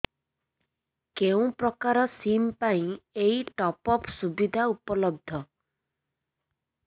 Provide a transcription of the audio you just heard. କେଉଁ ପ୍ରକାର ସିମ୍ ପାଇଁ ଏଇ ଟପ୍ଅପ୍ ସୁବିଧା ଉପଲବ୍ଧ